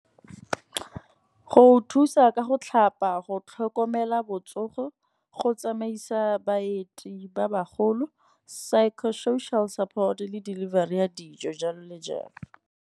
Go thusa ka go tlhapa, go tlhokomela botsogo, go tsamaisa baeti ba bagolo, psycho social support le delivery ya dijo jalo le jalo.